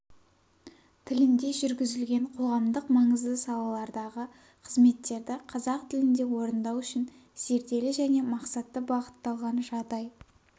тілінде жүргізілген қоғамдық маңызды салалардағы қызметтерді қазақ тілінде орындау үшін зерделі және мақсатты бағытталған жағдай